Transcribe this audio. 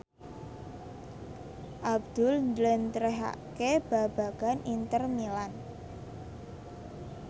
Abdul njlentrehake babagan Inter Milan